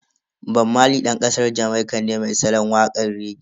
Bob Marley Dan kasar Jamaika ne mai salon wakan rege.